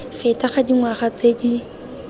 feta ga dingwaga tse di